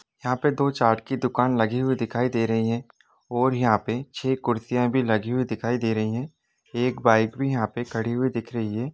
यहां पर दो चार्ट की दुकान लगी हुई दिखाई दे रही है और यहां पर छ कुर्सियां भी लगी हुई दिखाई दे रही हैं एक बाइक भी यहां पर खड़ी हुई दिख रही हैं।